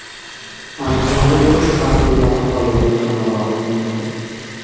Andijonda urush faxriylari holidan xabar olinmoqda .